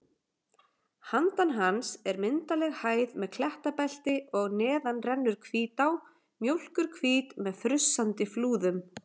Handan hans er myndarleg hæð með klettabelti og neðar rennur Hvítá, mjólkurhvít með frussandi flúðum.